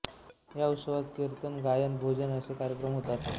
या उत्सवात कीर्तन गायन व भोजन असे कार्यक्रम होतात